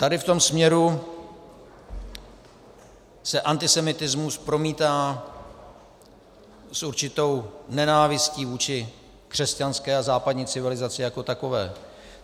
Tady v tom směru se antisemitismus promítá s určitou nenávistí vůči křesťanské a západní civilizaci jako takové.